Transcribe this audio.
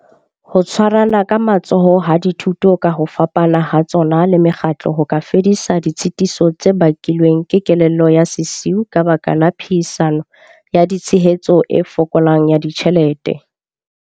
Ho tshwarana ka matsoho ha dithuto ka ho fapana ha tsona le mekgatlo ho ka fedisa ditshitiso tse bakilweng ke kelello ya sesiu ka baka la phehisano ya tshehetso e fokolang ya ditjhelete.